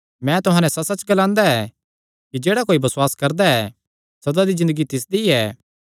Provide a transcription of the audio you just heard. मैं तुहां नैं सच्चसच्च ग्लांदा ऐ कि जेह्ड़ा कोई बसुआस करदा ऐ सदा दी ज़िन्दगी तिसदी ऐ